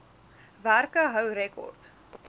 werke hou rekord